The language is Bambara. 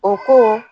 O ko